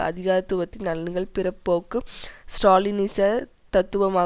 அதிகாரத்துவத்தின் நலன்கள் பிற்போக்கு ஸ்ராலினிச தத்துவமான